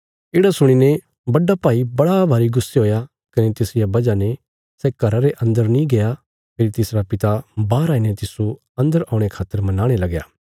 येढ़ा सुणीने बड्डा भाई बड़ा भारी गुस्से हुया कने तिसरिया वजह ने सै घरा रे अन्दर नीं गया फेरी तिसरा पिता बाहर आईने तिस्सो अन्दर औणे खातर मनाणे लगया